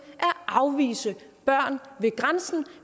at afvise børn ved grænsen